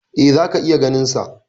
E, zaka iya ganinsa.